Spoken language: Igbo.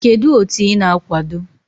Kedu otu ị na-akwado?